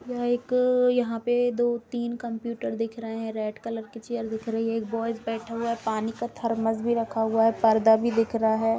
यह एक अ यहां पे दो-तीन कंप्यूटर दिख रहे है रेड कलर की चेयर दिख रही एक बॉयज बैठा हुआ है पानी का थर्मस भी रखा हुआ है पर्दा भी दिख रहा है।